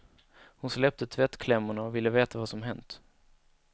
Hon släppte tvättklämmorna och ville veta vad som hänt.